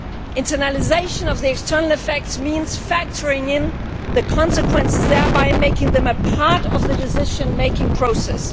Internalisation of the external effects means factoring in the consequences, thereby making them a part of the decision making process.